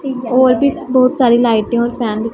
और भी बहुत सारे लाइटें और फैन --